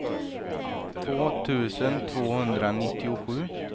två tusen tvåhundranittiosju